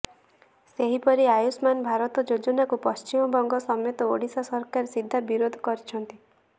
ସେହିପରି ଆୟୁଷ୍ମାନ ଭାରତ ଯୋଜନାକୁ ପଶ୍ଚିମବଙ୍ଗ ସମେତ ଓଡ଼ିଶା ସରକାର ସିଧା ବିରୋଧ କରିଛନ୍ତି